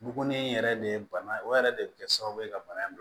Bugunen yɛrɛ de ye bana ye o yɛrɛ de bɛ kɛ sababu ye ka bana in